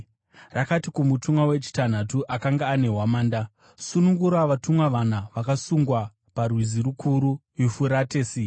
Rakati kumutumwa wechitanhatu akanga ane hwamanda, “Sunungura vatumwa vana, vakasungwa parwizi rukuru Yufuratesi.”